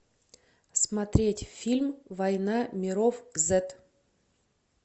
смотреть фильм война миров зет